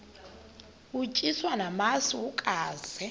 utyiswa namasi ukaze